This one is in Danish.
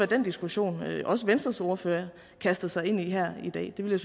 den diskussion også venstres ordfører kastede sig ind i her i dag det ville